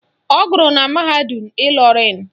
Ọ gụrụ na mahadum Ịlọrịn